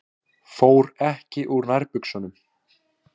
Fór ekki úr nærbuxunum.